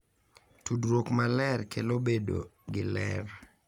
Tudruok maler kelo bedo gi ler,